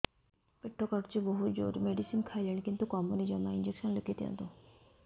ପେଟ କାଟୁଛି ବହୁତ ଜୋରରେ ମେଡିସିନ ଖାଇଲିଣି କିନ୍ତୁ କମୁନି ଜମା ଇଂଜେକସନ ଲେଖିଦିଅନ୍ତୁ